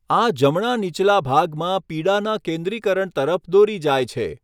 આ જમણા નીચલા ભાગમાં પીડાના કેન્દ્રીકરણ તરફ દોરી જાય છે.